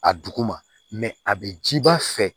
A duguma a bɛ ji ba fɛ